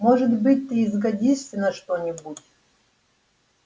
может быть ты и сгодишься на что-нибудь